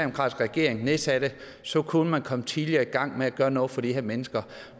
regering nedsatte så kunne man være kommet tidligere i gang med at gøre noget for de her mennesker